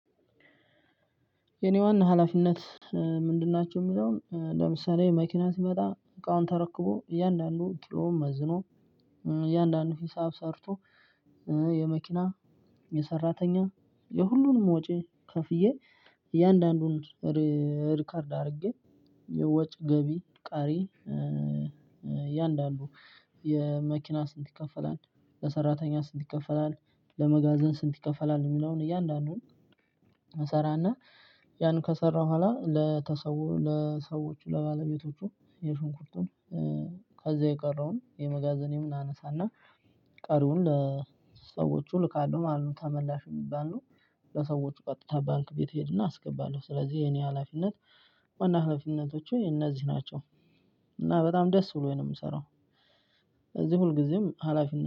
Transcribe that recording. የኔ ዋና ሀላፊነት? ምንድን ናቸው ሚለውን ለምሳሌ መኪና ሲመጣ እቃውን ተረክቦ እያንዳንዱን ኪሎ መዝኖ እያንዳንዱን ሂሳብ ሰርቶ። የመኪና የሰራተኛ የሁሉንም ወጪ ከፍዬ እያንዳንዱን ሪከርድ አድርጌ የወጭ ገቢ ቀሪ። የአንዳንዱ የመኪና ስንት ይከፈላል ለሰራተኛ ስንት ይከፈላል ለመጋዘን ስንት ይከፈላል? የሚለውን እያንዳንዱን እንሰራና ያን ከሰራሁ በኋላ ቤተሰቡ ለሰዎቹ ለባለቤቶቹ የሽንኩርቱን ከዛ የቀረውን የመጋዘኔም አነሳ እና ቀሪውን ለሰዎቹ እልካለሁ ማለት ነው። ተመላሽ የሚባሉ ለሰዎች ቀጥታ ባንክ ቤት እሄድ እና አስገባለሁ። ስለዚህ የኔ ሀላፊነት ዋና ሀለፊነቶቹ እነዚህ ናቸው። እና በጣም ደስ ብሎኝ ነው የምሰራው። ስለዚህ ሁልጊዜም ሀላፊነት